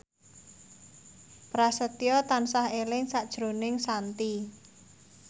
Prasetyo tansah eling sakjroning Shanti